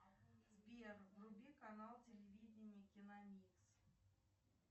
сбер вруби канал телевидение киномикс